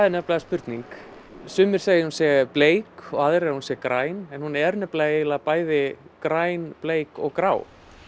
nefnilega spurning sumir segja að hún sé bleik og aðrir að hún sé græn en hún er nefnilega eiginlega græn bleik og grá